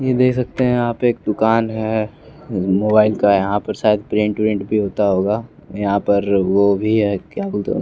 ये देख सकते हैं आप एक दुकान है मोबाइल का यहाँ पर शायद प्रिंट प्रिंट भी होता होगा यहाँ पर वो भी है क्या बोलते हैं उ --